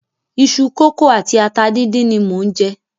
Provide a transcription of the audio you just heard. Iṣu kókò àti ata díndín ni mò ń jẹ.